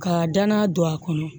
Ka danna don a kɔnɔ